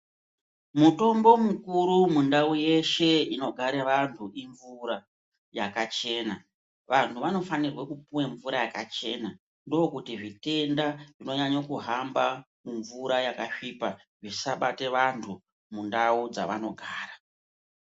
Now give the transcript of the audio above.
Mutombo mukuru mundau yeshe inogare vanthu imvura yakachena Vanthu vanofanirwa kumwa mvura yakachena, ndokuti zvitenda zvinonyanya kuhamba mumvura yakasviba, zvisabata vanthu mundawu dzevanogara.